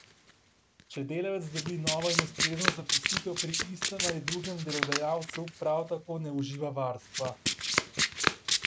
Če delavec dobi novo in ustrezno zaposlitev pri istem ali drugem delodajalcu, prav tako ne uživa varstva.